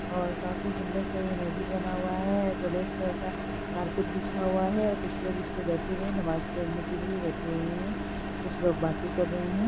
और काफी सुंदर से यह मस्जिद बना हुआ है। रेड कलर का कार्पेट बीछा हुआ है। कुछ लोग उस पे बेठे है नमाज पढ़ने के लिए बेठे हुए है। कुछ लोग बाते कर रहै है।